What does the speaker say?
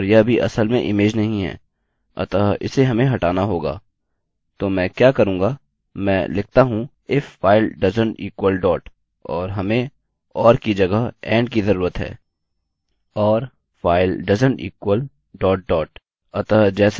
तो मैं क्या करूँगा मैं लिखता हूँ फाइल डॉट के समान नहीं हैं if file doesnt equal dot और हमें or की जगह and की ज़रूरत है और फाइल डॉट डॉट के समान नहीं हैंfile doesnt equal dot dot